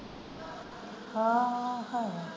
ਆਹ ਹਾਂ।